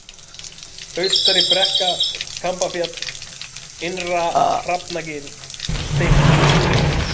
Austaribrekka, Kambafjall, Innra-Hrafnagil, Steinstungur